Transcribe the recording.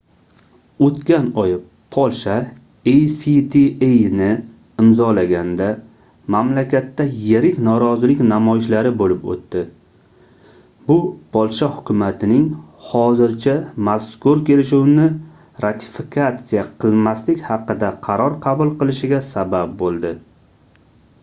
oʻtgan oy polsha actani imzolaganda mamlakatda yirik norozilik namoyishlari boʻlib oʻtdi bu polsha hukumatining hozircha mazkur kelishuvni ratifikatsiya qilmaslik haqida qaror qabul qilishiga sabab boʻldi